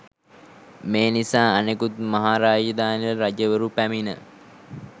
මේ නිසා අනෙකුත් මහා රාජධානිවල රජවරු පැමිණ